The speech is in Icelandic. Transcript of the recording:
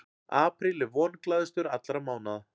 Apríl er vonglaðastur allra mánaða.